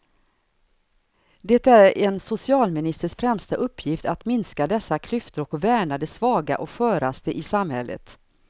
Det är en socialministers främsta uppgift att minska dessa klyftor och värna de svaga och sköraste i samhället.